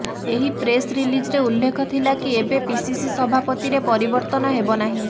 ଏହି ପ୍ରେସ୍ ରିଲିଜ୍ରେ ଉଲ୍ଲେଖ ଥିଲା କି ଏବେ ପିସିସି ସଭାପତିରେ ପରିବର୍ତ୍ତନ ହେବ ନାହିଁ